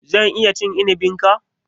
Zan iya cin inibin ka?